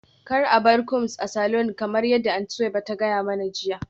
Kar a bar combs a saloon kamar yadda Aunty Suweiba ta gaya mani jiya